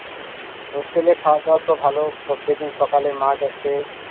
hostel এ খাওয়া দাওয়া তো ভালো প্রত্যেকদিন সকালে মাছ আছে